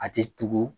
A ti tugu